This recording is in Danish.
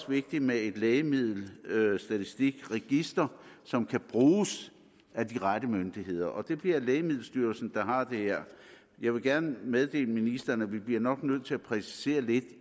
vigtigt med et lægemiddelstatistikregister som kan bruges af de rette myndigheder og det bliver lægemiddelstyrelsen der har det her jeg vil gerne meddele ministeren at vi nok bliver nødt til at præcisere lidt